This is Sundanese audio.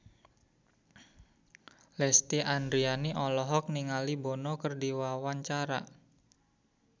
Lesti Andryani olohok ningali Bono keur diwawancara